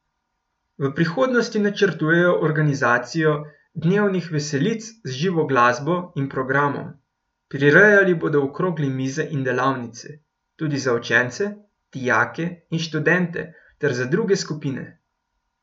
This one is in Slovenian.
V prihodnosti načrtujejo organizacijo dnevnih veselic z živo glasbo in programom, prirejali bodo okrogle mize in delavnice, tudi za učence, dijake in študente ter za druge skupine.